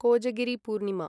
Kojagiri Purnima